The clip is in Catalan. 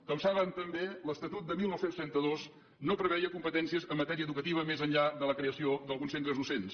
com saben també l’estatut de dinou trenta dos no preveia competències en matèria educativa més enllà de la creació d’alguns centres docents